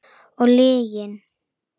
Og lygin.